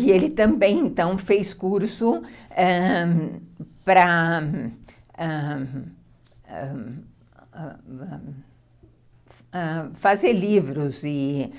E ele também então fez curso para ãh ãh ãh ãh fazer livros e